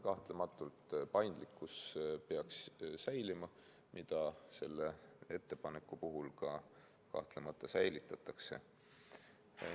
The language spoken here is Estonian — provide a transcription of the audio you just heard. Kahtlemata paindlikkus peaks säilima, mida selle ettepaneku puhul ka kahtlemata säilitatakse.